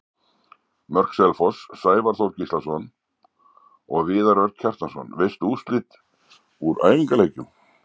Mörk Selfoss: Sævar Þór Gíslason og Viðar Örn Kjartansson Veistu úrslit úr æfingaleikjum?